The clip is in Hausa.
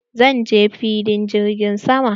Zan je filin jirgin sama.